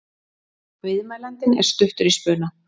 Viðmælandinn er stuttur í spuna.